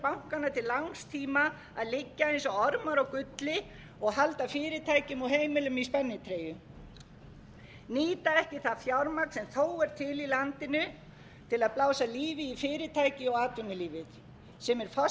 bankanna til langs tíma að liggja eins og ormar á gulli og halda fyrirtækjum og heimilum í spennitreyju nýta ekki það fjármagn sem þó er til í landinu til að blása lífi í fyrirtæki og atvinnulífið sem er forsenda þess að þjóðlífið nái að